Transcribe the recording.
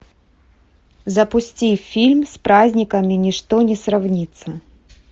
запусти фильм с праздниками ничто не сравнится